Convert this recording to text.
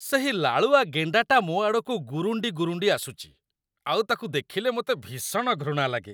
ସେହି ଲାଳୁଆ ଗେଣ୍ଡାଟା ମୋ ଆଡ଼କୁ ଗୁରୁଣ୍ଡି ଗୁରୁଣ୍ଡି ଆସୁଛି, ଆଉ ତାକୁ ଦେଖିଲେ ମୋତେ ଭୀଷଣ ଘୃଣା ଲାଗେ।